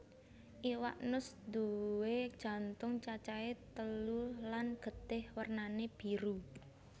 Iwak nus nduwé jantung cacahé telu lan getih wernané biru